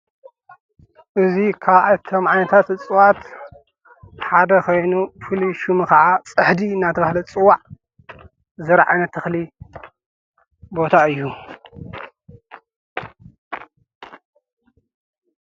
እዙይ ኻብቶም ዓይነታት እጽዋት ሓደ ኸይኑ ፍሉይ ሽሙ ኸዓ ጽሕዲ ናተብህለ ዝጽዋዕ ዝራእቲ ተኽሊ ቦታ እዩ